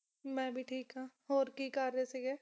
ਮੈਂ ਵੀ ਠੀਕ ਆ ਹੋਰ ਕੀ ਕਰ ਰਹੇ ਸੀ ਗੇ